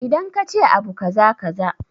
Idan kace abu kaza kaza